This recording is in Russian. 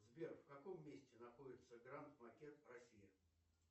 сбер в каком месте находится гранд макет в россии